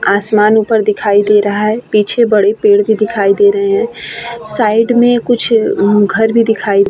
आसमान ऊपर दिखाई दे रहा है पीछे बड़े पेड़ भी दिखाई दे रहे है। साइड में कुछ घर भी दिखाई --